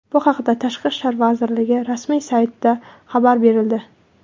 Bu haqda Tashqi ishlar vazirligi rasmiy saytida xabar berildi .